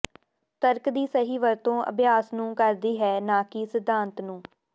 ਤਰਕ ਦੀ ਸਹੀ ਵਰਤੋਂ ਅਭਿਆਸ ਨੂੰ ਕਰਦੀ ਹੈ ਨਾ ਕਿ ਸਿਧਾਂਤ ਨੂੰ